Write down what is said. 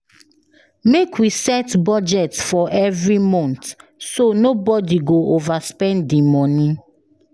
Make we set budget for every month, so nobody go overspend the money.